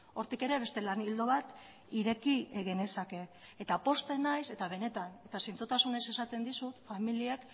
hortik ere beste lan ildo bat ireki genezake eta pozten naiz eta benetan eta zintzotasunez esaten dizut familiak